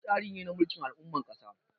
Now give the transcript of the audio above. Gwamnati tsari ne na mulkin al'ummar ƙasa.